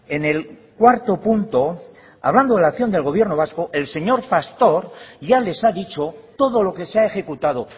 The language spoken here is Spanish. en el cuarto punto hablando de la acción del gobierno vasco el señor pastor ya les ha dicho todo lo que se ha ejecutado